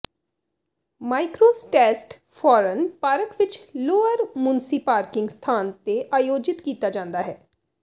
ਮਾਈਕ੍ਰੋਸਟੈਸਟ ਫੌਰਨ ਪਾਰਕ ਵਿਚ ਲੋਅਰ ਮੁੰਸੀ ਪਾਰਕਿੰਗ ਸਥਾਨ ਤੇ ਆਯੋਜਿਤ ਕੀਤਾ ਜਾਂਦਾ ਹੈ